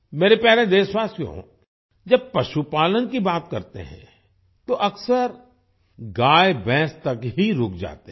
मेरे प्यारे देशवासियो जब पशुपालन की बात करते हैं तो अक्सर गायभैंस तक ही रुक जाते हैं